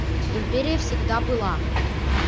империя всегда была